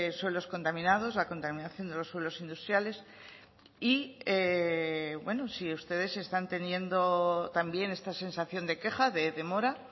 suelos contaminados la contaminación de los suelos industriales y bueno si ustedes están teniendo también esta sensación de queja de demora